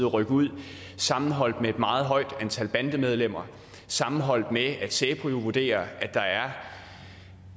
rykke ud sammenholdt med et meget højt antal bandemedlemmer sammenholdt med at säpo jo vurderer at der er